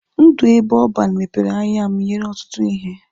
Ndụ ebe ọban mepere anya m nyere ọtụtụ ihe.